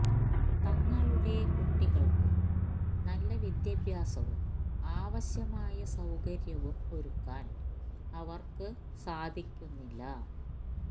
തങ്ങളുടെ കുട്ടികള്ക്ക് നല്ല വിദ്യാഭ്യാസവും ആവശ്യമായ സൌകര്യവും ഒരുക്കാന് അവര്ക്ക് സാധിക്കുന്നില്ല